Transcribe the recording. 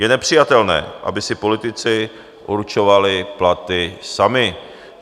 Je nepřijatelné, aby si politici určovali platy sami.